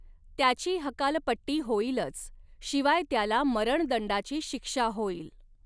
त्याची हकालपट्टी होईलच, शिवाय त्याला मरणदंडाची शिक्षा होईल.